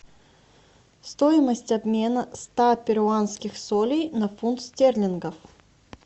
стоимость обмена ста перуанских солей на фунт стерлингов